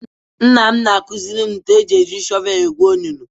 Nna m na-akuziri m ka e si eji shọvelu egwu onunu.